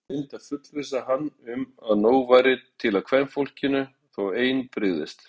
Lögreglan reyndi að fullvissa hann um að nóg væri til af kvenfólkinu þó ein brygðist.